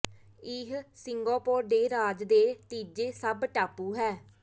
ਇਹ ਸਿੰਗਾਪੋਰ ਦੇ ਰਾਜ ਦੇ ਤੀਜੇ ਸਭ ਟਾਪੂ ਹੈ